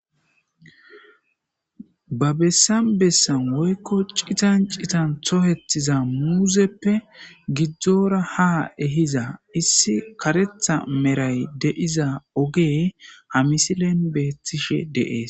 Ha bessan bessan woykko citan citan tohetiza muuzeppe gidzdzora ha ehiza issi karetha meray deiza ogee ha misilen beethtishe deees.